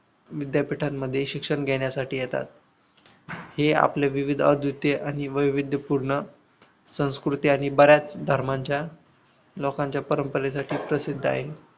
विद्यापीठांमध्ये शिक्षण घेण्यासाठी येतात हे आपले विविध अद्वितीय आणि वैविध्यपूर्ण संस्कृती आणि बऱ्याच धर्मांच्या लोकांच्या परंपरेसाठी प्रसिद्ध आहे.